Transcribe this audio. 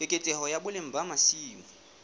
keketseho ya boleng ba masimo